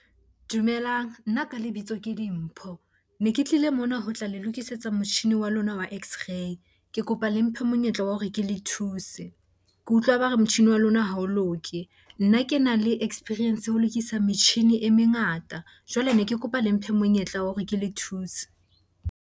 Dumelang, nna ka lebitso ke Dimpho. Ne ke tlile mona ho tla le lokisetsa motjhini wa lona wa x-ray. Ke kopa le mphe monyetla wa hore ke le thusen ke utlwa ba re motjhini wa lona ha o loke. Nna ke na le experience ho lokisa metjhini e mengata. Jwale ne ke kopa le mphe monyetla wa hore ke le thuse.